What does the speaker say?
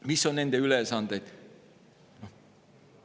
Mis on nende ülesanded?